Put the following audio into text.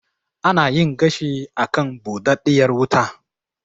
Ana yin gashi a kan buɗaɗɗiyar wuta.